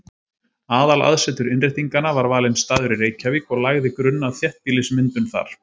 Aðalaðsetur Innréttinganna var valinn staður í Reykjavík og lagði grunn að þéttbýlismyndun þar.